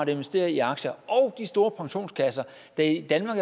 investerer i aktier og de store pensionskasser der i danmark